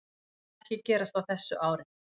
Það mun ekki gerast á þessu ári.